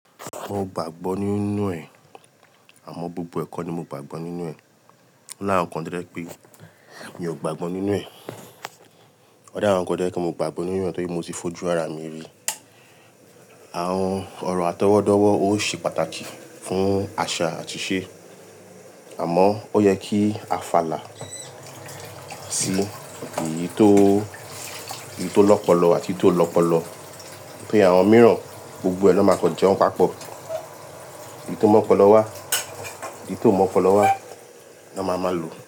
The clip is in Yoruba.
Mo gbàgbọ́ nínú ẹ̀, àmọ́ gbogbo ẹ̀ kó ni mo gbàgbọ́ nínú ẹ̀. Láàrún kan dírẹ́ pé mi ò gbàgbọ́ nínú ẹ̀. O ni àwọn ǹkan to je gbàgbọ́ nínú ẹ̀ nítorí mo ti fojú ara mi rí. Àwọn ọ̀rọ̀ atọwọ́dọ̀wọ̀ ó ṣe pàtàkì fún àṣà àti ìṣe. Àmọ́ ó yẹ kí a fàlà sí èyí tó, èyí tó lọ́pọlọ àti ti o lọ́pọ̀lọpọ̀. Bí àwọn mìíràn gbogbo ẹ̀ lọ máa kọ jẹun papọ̀. Èyí tó mọ́pọlọ wá, èyí ti ò mọ́pọlọ wá lọ máa máa lò.